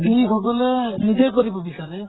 যি সকলোৱে নিজে কৰিব বিছাৰে ।